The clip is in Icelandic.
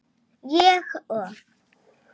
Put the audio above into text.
Ég og